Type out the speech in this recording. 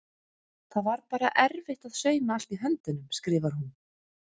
Það var bara erfitt að sauma allt í höndunum skrifar hún.